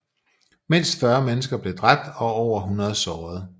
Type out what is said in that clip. Mindst 40 mennesker blev dræbt og over 100 såret